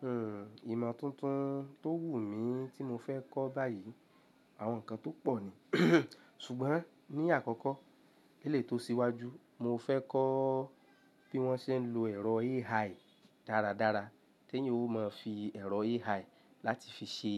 Hmm ìmọ̀ tuntun tó wù mí tí mo fẹ́ kọ́ báyìí àwọn nǹkan tó pọ̀ ni. Ṣùgbọ́n ní àkọ́kọ́, eleyii tó síwájú, mo fẹ́ kọ́ bí wọ́n ṣe ń lo ẹ̀rọ AI dáradára, ti eeyan ó máa fi ẹ̀rọ AI láti fi ṣe